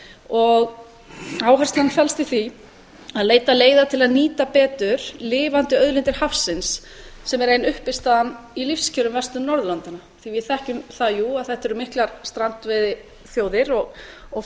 og áherslan felst í því að leita leiða til að nýta betur lifandi auðlindir hafsins sem er ein uppistaðan í lífskjörum vestur norðurlandanna því að við þekkjum það jú að þetta eru miklar strandveiðiþjóðir og